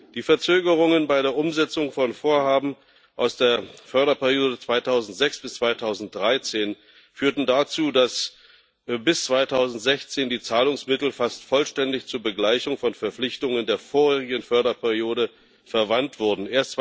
Die Verzögerungen bei der Umsetzung von Vorhaben aus der Förderperiode 2006 bis 2013 führten dazu, dass bis 2016 die Zahlungsmittel fast vollständig zur Begleichung von Verpflichtungen der vorherigen Förderperiode verwandt wurden.